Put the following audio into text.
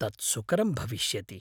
तत् सुकरं भविष्यति।